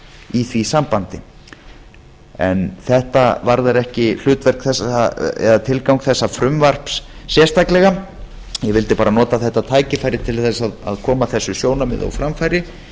í því sambandi en þetta varðar ekki hlutverk eða tilgang þessa frumvarps sérstaklega ég vildi bara nota þetta tækifæri til að koma þessu sjónarmiði á framfæri